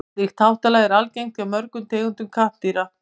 slíkt háttalag er algengt hjá mörgum tegundum kattardýra